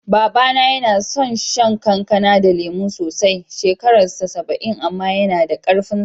Baba na yana son shan kankana da lemu sosai, shekarar sa saba'in amma yana da ƙarfin sa.